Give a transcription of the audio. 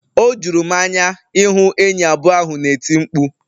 O juru m anya ịhụ enyi abụọ ahụ na-eti mkpu..